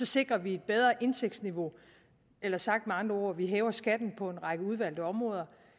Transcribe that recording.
sikrer vi et bedre indtægtsniveau eller sagt med andre ord vi hæver skatten på en række udvalgte områder